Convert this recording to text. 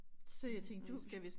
Så jeg tænkte du